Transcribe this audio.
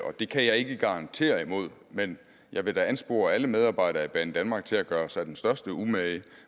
og det kan jeg ikke garantere imod men jeg vil da anspore alle medarbejdere i banedanmark til at gøre sig den største umage